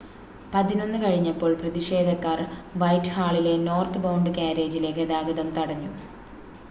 11:00 കഴിഞ്ഞപ്പോൾ പ്രതിഷേധക്കാർ വൈറ്റ്ഹാളിലെ നോർത്ത്ബൗണ്ട് കാര്യേജിലെ ഗതാഗതം തടഞ്ഞു